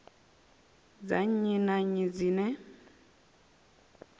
dza nnyi na nnyi dzine